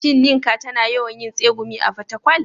Shin Nneka tana yawan yin tsegumi a Fatakwal?